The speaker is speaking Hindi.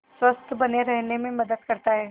स्वस्थ्य बने रहने में मदद करता है